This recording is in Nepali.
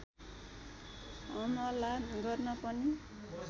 हमला गर्न पनि